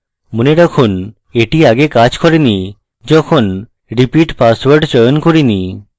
মনে রাখুন এটি আগে কাজ করেনি যখন repeat password চয়ন করিনি